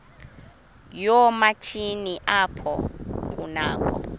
yoomatshini apho kunakho